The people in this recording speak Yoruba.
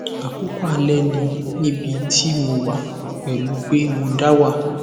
àkókò alẹ ni níbi tí mo wà pẹlú pé mo da wà